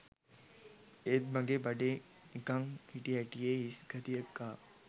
එත් මගේ බඩේ නිකම් හිටි හැටියේ හිස් ගතියක් ආවා